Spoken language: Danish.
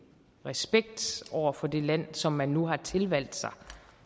respekt over for det land som man nu har tilvalgt sig